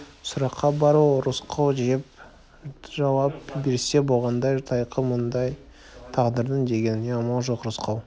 сұраққа бар ол рысқұл деп жауап берсе болғандай тайқы маңдай тағдырдың дегеніне амал жоқ рысқұл